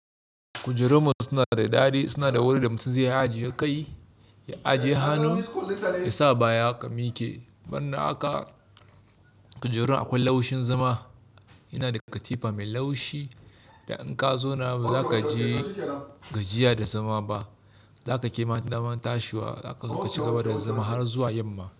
Kujerunmu suna da dadi, suna da wuri da mutum zai iya ajiye kai, ya ajiye hannu, ya sa baya ka miki. Banda haka, kujerun akwai laushin zama. Yana da katifa mai laushi da in ka zauna ba za ka ji gajiya da zama ba. Za ka ƙi damar tashiwa, za ka cigaba da zama har zuwa yamma.